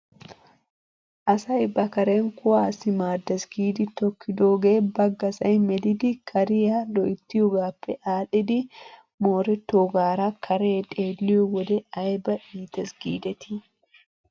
Asay ba karen kuwaassi maaddes giidi tokkidoogee baggasay melidi kariyaa loyttiyoogaappe aadhdhidi moorettoogaara karee xeelliyoo wode ayba iites giidetii ?